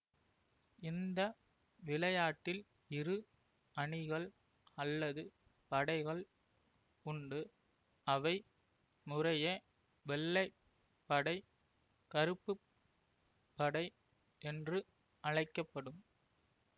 இந்த விளையாட்டில் இரு அணிகள் அல்லது படைகள் உண்டு அவை முறையே வெள்ளை படை கறுப்பு படை என்று அழைக்க படும்